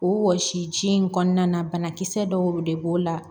O wɔsi ji in kɔnɔna na banakisɛ dɔw de b'o la